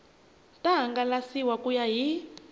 ta hangalasiwa ku ya hi